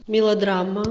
мелодрама